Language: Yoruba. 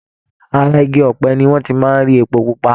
Ara igi ọ̀pẹ ni wọ́n ti máa ń rí epo pupa.